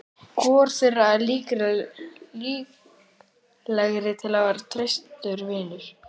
Hvor þeirra er líklegri til að verða traustur vinur?